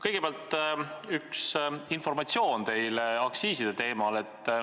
Kõigepealt annan teile informatsiooni aktsiiside teemal.